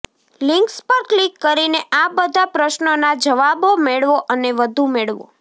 links પર click કરીને આ બધા પ્રશ્નોના જવાબો મેળવો અને વધુ મેળવો